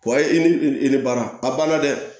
i ni i ni baara padɛ